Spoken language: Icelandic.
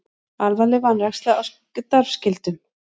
Alvarleg vanræksla á starfsskyldum